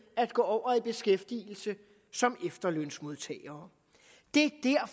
at gå over i beskæftigelse som efterlønsmodtagere det er